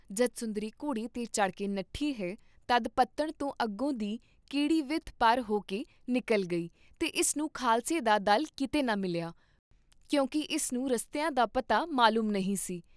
ਜਦ ਸੁੰਦਰੀ ਘੋੜੇ ਤੇ ਚੜ੍ਹਕੇ ਨੱਠੀ ਹੈ, ਤਦ ਪੱਤਣ ਤੋਂ ਅੱਗੋਂ ਦੀ ਕੀੱਡੀ ਵਿੱਥ ਪਰ ਹੋਕੇ ਨਿਕਲ ਗਈ ਤੇ ਇਸ ਨੂੰ ਖਾਲਸੇ ਦਾ ਦਲ ਕੀਤੇ ਨਾ ਮਿਲਿਆ, ਕਿਉਂਕਿ ਇਸ ਨੂੰ ਰਸਤਿਆਂ ਦਾ ਪਤਾ ਮਲੂਮ ਨਹੀਂ ਸੀ।